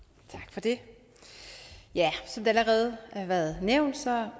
det som det allerede har været nævnt